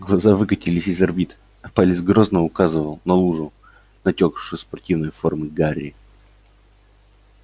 глаза выкатились из орбит а палец грозно указывал на лужу натёкшую со спортивной формы гарри